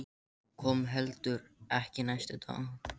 Hún kom heldur ekki næsta dag.